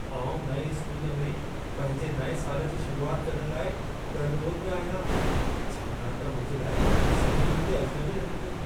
आउं नएं स्कूल में पंहिंजे नएं साल जी शुरूआति करण लाइ ॻण ॻोत में आहियां, छाकाणि त मुंहिंजे लाइ सभई हुते अजनबी आहिनि।